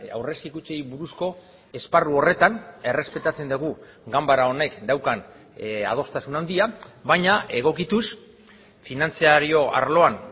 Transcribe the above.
aurrezki kutxei buruzko esparru horretan errespetatzen dugu ganbara honek daukan adostasuna handia baina egokituz finantzario arloan